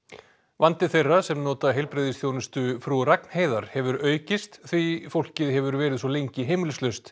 vandi þeirra sem nota heilbrigðisþjónustu Frú Ragnheiðar hefur aukist því fólkið hefur verið svo lengi heimilislaust